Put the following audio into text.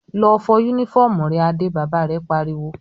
"Lọ fọ únífọ́ọ́mù rẹ Adé!" Bàbá rẹ̀ pariwo.